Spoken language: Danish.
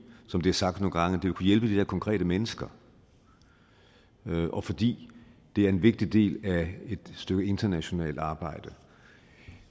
som det er sagt nogle gange ville kunne hjælpe de der konkrete mennesker og fordi det er en vigtig del af et stykke internationalt arbejde